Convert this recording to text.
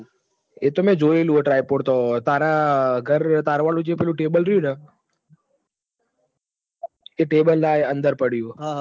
એ તો મેં જોઈલુ હ typed તો તારા ઘર તારા વાળું પેલું ટેબલ રહ્યું ને એ ટેબલ ના અંદર પડું હે